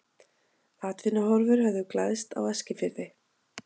Atvinnuhorfur höfðu glæðst á Eskifirði.